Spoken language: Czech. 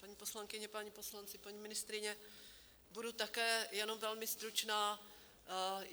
Paní poslankyně, páni poslanci, paní ministryně, budu také jenom velmi stručná.